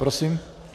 Prosím.